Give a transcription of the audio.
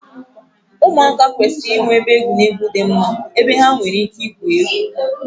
ụmụaka kwesịrị inwe ebe egwuregwu dị mma ebe ha nwere ike igwu egwu